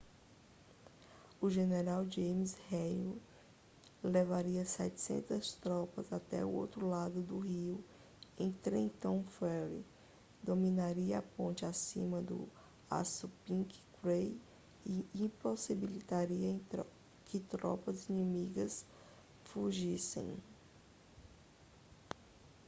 o general james erwin levaria 700 tropas até o outro lado do rio em trenton ferry dominaria a ponte acima do assunpink creek e impossibilitaria que tropas inimigas fugissem